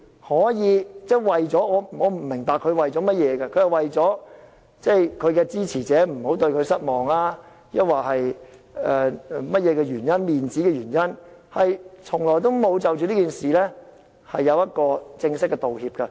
我不明白何君堯議員是否為了不讓支持者對他失望，還是甚麼或面子的原因，他多個月來從沒有就此事作出正式的道歉。